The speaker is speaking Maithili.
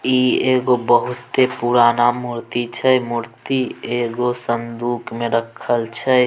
ई एगो बहुते पूराना मूर्ति छै मूर्ति एगो संदूक में रखल छै।